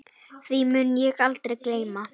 Því mun ég aldrei gleyma.